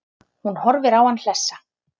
Hún horfir á hann hlessa.